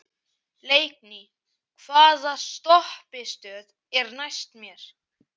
Leikný, hvaða stoppistöð er næst mér?